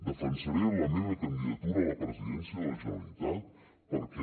defensaré la meva candidatura a la presidència de la generalitat perquè